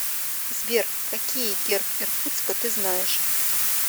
сбер какие герб иркутска ты знаешь